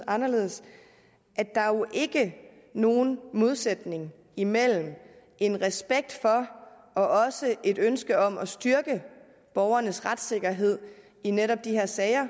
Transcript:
anderledes at der jo ikke er nogen modsætning imellem en respekt for og også et ønske om at styrke borgernes retssikkerhed i netop de her sager